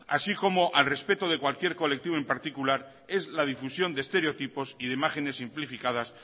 así como al respeto de cualquier colectivo en particular es la difusión de estereotipos y de imágenes simplificadas